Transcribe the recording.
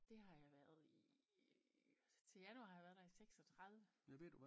Det har jeg været ih til januar har jeg været der i 36